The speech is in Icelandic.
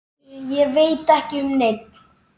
Ég veit ekki um neinn.